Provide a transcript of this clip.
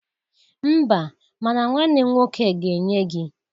Mba, ma na nwanne m nwoke ga-enye gị.